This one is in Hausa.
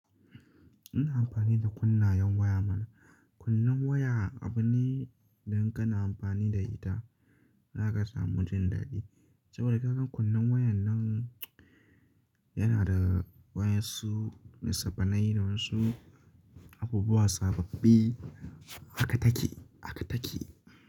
Ina amfani da kunnayen waya mana. Kunnan waya abu ne idan kana amfani da ita, za ka samu jin daɗi. Saboda ka ga kunnen wayan nan yana da wasu nisaffanai da wasu abubuwa sababbi haka take, haka take.